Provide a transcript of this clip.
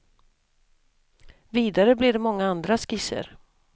Vidare blev det många andra skisser.